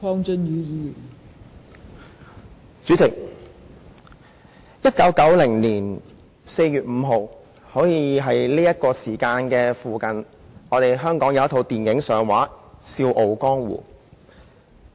代理主席 ，1990 年4月5日，差不多是這個時候，香港有一齣電影上映："笑傲江湖"。